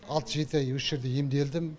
алты жеті ай осы жерде емделдім